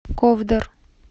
ковдор